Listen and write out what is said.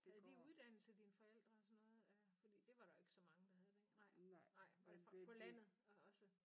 Havde de uddannelse dine forældre og sådan noget øh fordi det var der jo ikke så mange der havde den nej nej var det fra så på landet og så